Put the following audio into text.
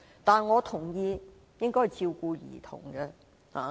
但是，我同意應該照顧兒童將來的需要。